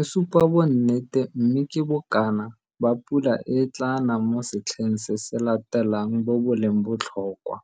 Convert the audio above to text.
e supa bonnete mme ke bokana ba pula e e tlaa nang mo setlheng se se latelang bo bo leng botlhokwa.